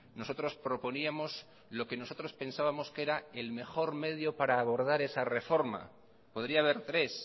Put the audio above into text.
nosotros proponíamos lo que nosotros pensábamos que era el mejor medio para abordar esa reforma podría haber tres